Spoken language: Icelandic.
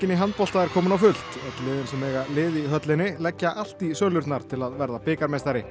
í handbolta er kominn á fullt öll liðin sem eiga lið í höllinni leggja allt í sölurnar til að verða bikarmeistari